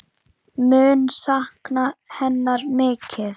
Mun sakna hennar mikið.